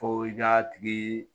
Fo i k'a tigi